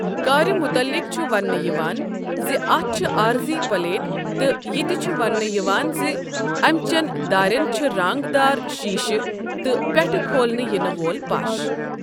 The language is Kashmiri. كارِ مُتعلِق چُھ ونٛنہٕ یِوان زِ اَتھ چھِ عٲرضی پَلیٹ تہٕ یہِ تہِ چُھ ونٛنہٕ یِوان زِ اَمہِ چیٚن داریٚن چھِ رنٛگ دار شیٖشہٕ تہٕ پیٚٹھہٕ کھولنہٕ یِنہٕ وول پش ۔